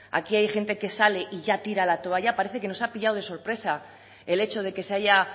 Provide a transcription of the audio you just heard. aquí hay gente que sale y ya tira la toalla parece que nos ha pillado de sorpresa el hecho de que se haya